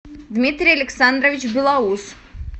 дмитрий александрович белоус